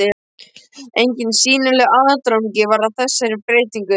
Enginn sýnilegur aðdragandi var að þessari breytingu.